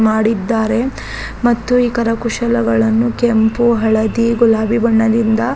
ಮಾಡಿದ್ದಾರೆ ಮತ್ತು ಈ ಕರಕುಶಲಗಳನ್ನೂ ಕೆಂಪು ಹಳದಿ ಗುಲಾಬಿ ಬಣ್ಣದಿಂದ --